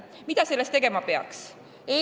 Mida selleks tegema peaks?